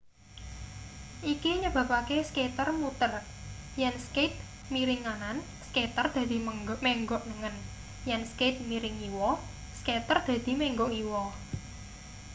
iki nyebabake skater muter yen skate miring nganan skater dadi menggok nengen yen skate miring ngiwa skater dadi menggok ngiwa